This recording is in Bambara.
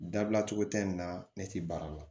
Dabila cogo tɛ nin na ne tɛ baara la